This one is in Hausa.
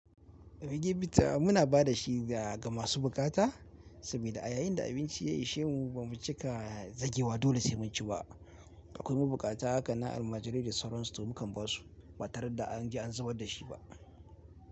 Rigebita muna ba da shi ga masu bukata saboda a yayin da abinci ya ishemu ba mu cika zagewa dole sai mun ci ba. Akwai ma buƙata haka nan almajirai da sauransu mu kan ba su ba tare da an je an zubar da shi ba.